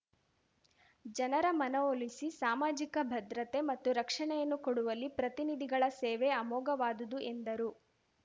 ಜನರ ಮನವೊಲಿಸಿ ಸಾಮಾಜಿಕ ಭದ್ರತೆ ಮತ್ತು ರಕ್ಷಣೆಯನ್ನು ಕೊಡುವಲ್ಲಿ ಪ್ರತಿನಿಧಿಗಳ ಸೇವೆ ಅಮೋಘವಾದುದು ಎಂದರು